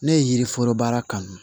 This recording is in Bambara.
Ne ye yiriforo baara kanu